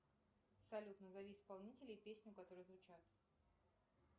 салют назови исполнителей песни которые звучат